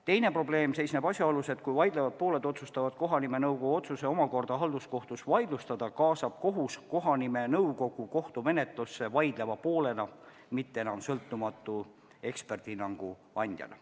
Teine probleem seisneb asjaolus, et kui vaidlevad pooled otsustavad kohanimenõukogu otsuse omakorda halduskohtus vaidlustada, siis kaasab kohus kohanimenõukogu kohtumenetlusse vaidleva poolena, mitte enam sõltumatu eksperdihinnangu andjana.